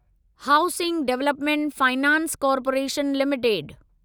housing development finance corporation limited